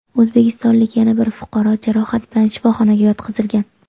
O‘zbekistonlik yana bir fuqaro jarohat bilan shifoxonaga yotqizilgan.